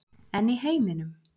En í heiminum?